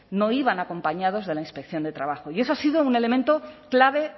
no iban acompañados de la inspección de trabajo y eso ha sido un elemento clave